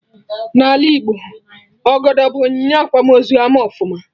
N'ala Igbo, Ọgọdọ bụ onyinye akwamozu ama ọfụma